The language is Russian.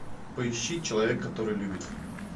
поищи человек который любит